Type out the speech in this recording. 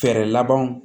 Fɛɛrɛ labanw